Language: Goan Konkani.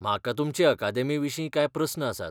म्हाका तुमचे अकादेमीविशीं कांय प्रस्न आसात.